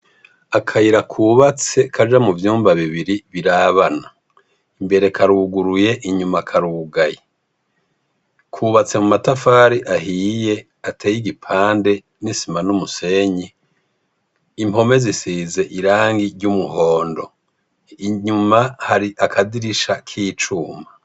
Akayira kubatse kaja mu vyumba bibiri birabana. Imbere karuguruye inyuma karugaye. Kubatse mu matafari ahiye ateye igipande n'isima n'umusenyi. Impome zisize irangi ry'umuhondo inyuma hari akadirisha k'icuma.